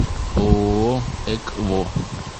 ооо экво